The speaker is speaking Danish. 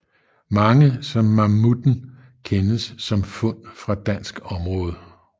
Mange som mammutten kendes som fund fra dansk område